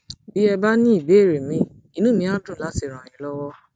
bí ẹ bá ní ìbéèrè míì inú mi á dùn láti ràn yín lọwọ